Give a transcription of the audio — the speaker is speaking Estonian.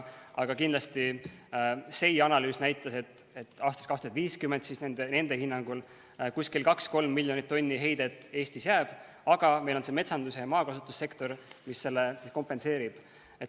Aga SEI analüüs näitas, et aastast 2050 nende hinnangul paar-kolm miljonit tonni heidet Eestis jääb, aga meil on see metsanduse ja maakasutuse sektor, mis selle kompenseerib.